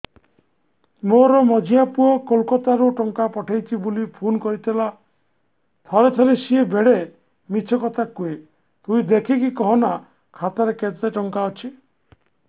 ମୋର ମଝିଆ ପୁଅ କୋଲକତା ରୁ ଟଙ୍କା ପଠେଇଚି ବୁଲି ଫୁନ କରିଥିଲା ଥରେ ଥରେ ସିଏ ବେଡେ ମିଛ କଥା କୁହେ ତୁଇ ଦେଖିକି କହନା ଖାତାରେ କେତ ଟଙ୍କା ଅଛି